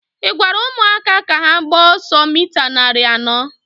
ị gwara ụmụaka ka ha gbaa ọsọ mita narị anọ?